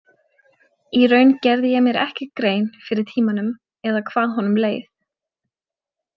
Í raun gerði ég mér ekki grein fyrir tímanum eða hvað honum leið.